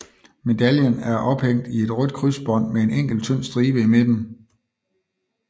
Medaljen er ophængt i et rødt krydsbånd med en enkelt tynd stribe i midten